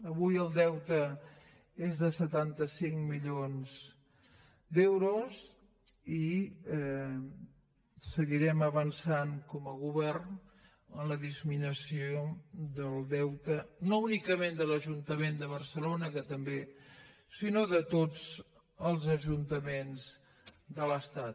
avui el deute és de setanta cinc milions d’euros i seguirem avançant com a govern en la disminució del deute no únicament de l’ajuntament de barcelona que també sinó de tots els ajuntament de l’estat